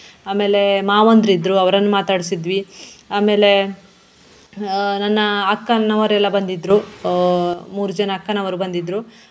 ಆಮೇಲೆ ಮಾವಂದ್ರಿದ್ರು ಅವರನ್ನು ಮಾತಾಡಿಸಿದ್ವಿ, ಆಮೇಲೆ ಹಾ ನನ್ನ ಅಕ್ಕನವರೆಲ್ಲ ಬಂದಿದ್ರು ಆಹ್ ಮೂರು ಜನ ಅಕ್ಕನವರು ಬಂದಿದ್ರು.